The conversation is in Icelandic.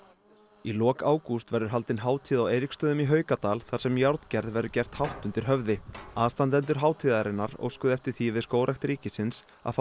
í lok ágúst verður haldin hátíð á Eiríksstöðum í Haukadal þar sem járngerð verður gert hátt undir höfði aðstandendur hátíðarinnar óskuðu eftir því við Skógrækt ríkisins að fá